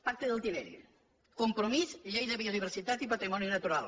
pacte del tinell compromís llei de biodiversitat i patrimoni natural